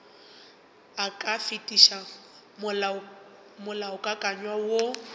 e ka fetiša molaokakanywa woo